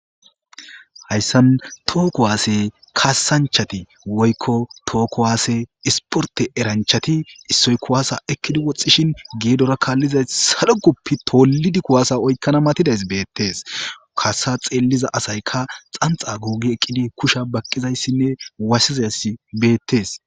hayssan too kuwaase kasanchati woykko tookkowaase isporte eranchati issoy kuwaasa ekkidi woxxishin geedora kaallizay saru guppi tollidi kuwaasa oykkana matidays beettees kasa xeelliza asaykka xanxa guugi eqqidi kusha baqqizayssinne waassizas beettees